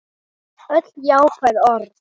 Öll jákvæð orð.